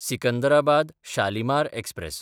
Secunderabad-Shalimar express